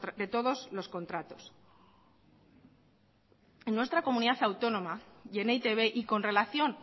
de todos los contratos en nuestra comunidad autónoma y en e i te be y con relación